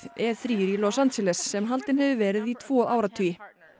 e þrjá í Los Angeles sem haldin hefur verið í tvo áratugi